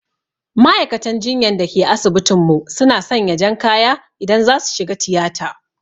Ma'aikatan jinyan da ke asibitin mu su na sanya jan kaya idan za su shiga tiyata